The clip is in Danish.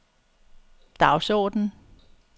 dagsorden